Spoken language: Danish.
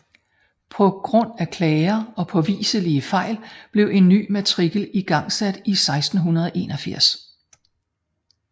På grund af klager og påviselige fejl blev en ny matrikel igangsat i 1681